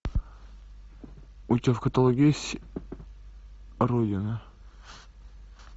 у тебя в каталоге есть родина